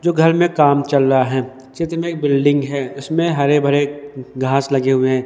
जो घर मे काम चल रहा है चित्र मे एक बिल्डिंग है उसमें हरे भरे घास लगे हुए है।